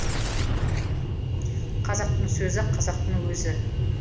қазақтың сөзі қазақтың өзі